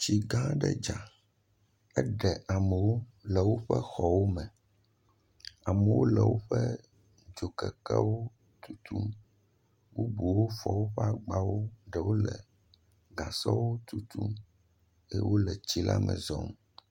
Tsigãã aɖe dza. Eɖe amewo le woƒe xɔwome. Amewo le woƒe dzokekewo tutum. Bubuwo fɔ woƒe agbawo, ɖewo le gasɔwo tutum eye wole tsila me zɔm.